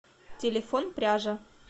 телефон пряжа